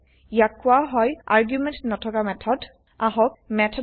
ইয়াক কোৱা হয় আৰ্গুমেন্ত নথকা মেথড মেথড উইথআউট আৰ্গুমেণ্টছ